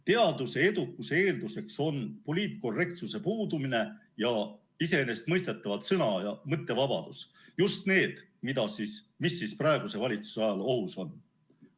Teaduse edukuse eeldus on poliitkorrektsuse puudumine ja iseenesestmõistetavalt sõna‑ ja mõttevabadus, just need, mis praeguse valitsuse ajal ohus on.